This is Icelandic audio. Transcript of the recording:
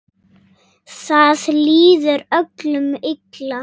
Það líður öllum illa.